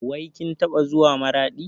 Wai kin taɓa zuwa Maraɗi?